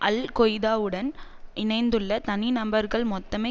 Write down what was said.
அல் கொய்தாவுடன் இணைந்துள்ள தனிநபர்கள் மொத்தமே